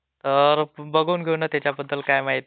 हो. तर काय आपल बँकेचं बजेट.